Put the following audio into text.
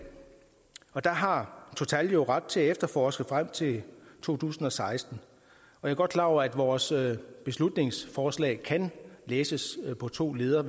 og der har total jo ret til at efterforske frem til to tusind og seksten jeg er godt klar over at vores beslutningsforslag kan læses på to ledder